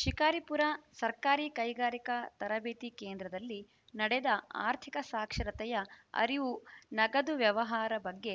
ಶಿಕಾರಿಪುರ ಸರ್ಕಾರಿ ಕೈಗಾರಿಕಾ ತರಬೇತಿ ಕೇಂದ್ರದಲ್ಲಿ ನಡೆದ ಆರ್ಥಿಕ ಸಾಕ್ಷರತೆಯ ಅರಿವು ನಗದು ವ್ಯವಹಾರ ಬಗ್ಗೆ